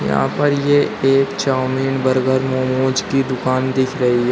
यहां पर ये एक चाऊमीन बर्गर मोमोज की दुकान दिख रही --